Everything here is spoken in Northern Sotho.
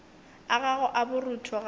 a gago a borutho gape